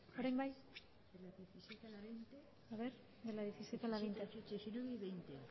ebazpena